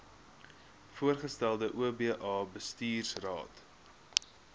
voorgestelde oba bestuursraad